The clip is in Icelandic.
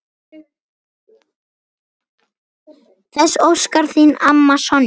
Þess óskar þín amma, Sonja.